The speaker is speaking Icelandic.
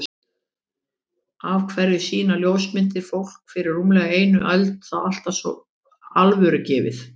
Af hverju sýna ljósmyndir fólk fyrir rúmlega einni öld það alltaf svo alvörugefið?